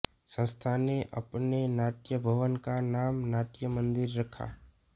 संस्था ने अपने नाट्यभवन का नाम नाट्य मंदिर रखा